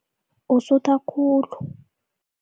Usutha khulu.